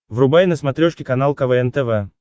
врубай на смотрешке канал квн тв